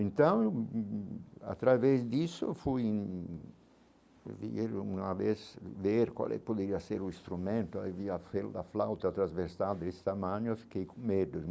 Então, através disso, fui vir uma vez ver qual é poderia ser o instrumento, aí vi a flauta, transversal desse tamanho, fiquei com medo.